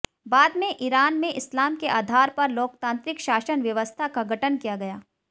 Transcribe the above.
बाद में ईरान में इस्लाम के आधार पर लोकतांत्रिक शासन व्यवस्था का गठन किया गया